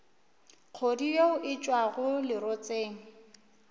kgodu yeo e tšwago lerotseng